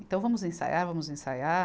Então, vamos ensaiar, vamos ensaiar.